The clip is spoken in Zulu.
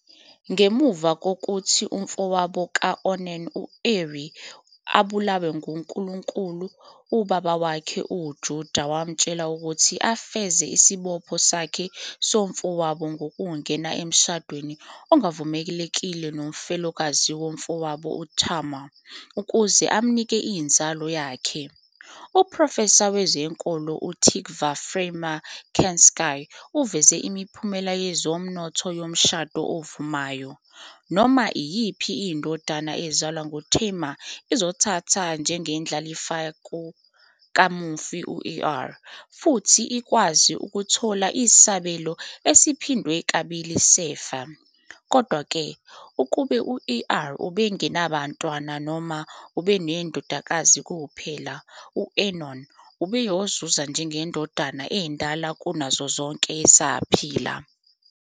Ngemuva kokuthi umfowabo ka-Onan u-Eri abulawe nguNkulunkulu, ubaba wakhe uJudah wamtshela ukuthi afeze isibopho sakhe kumfowabo ngokungena emshadweni ongavumelekile nomfelokazi womfowabo uTamar ukuze amnike inzalo yakhe. Uprofesa wezenkolo uTikva Frymer-Kensky uveze imiphumela yezomnotho yomshado ovumayo. noma iyiphi indodana ezalwa nguTamar izothathwa njengendlalifa kamufi u-Er, futhi ikwazi ukuthola isabelo esiphindwe kabili sefa. Kodwa-ke, ukube u-Er ubengenabantwana, noma ebenamadodakazi kuphela, u-Onan ubeyozuza njengendodana endala kunazo zonke esaphila.